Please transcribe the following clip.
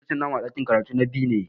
Laccoci na mu a ɗakin karatu na B ne.